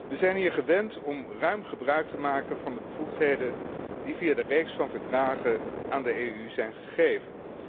We zijn hier gewend om ruim gebruik te maken van de bevoegdheden die via de reeks van Verdragen aan de EU zijn gegeven.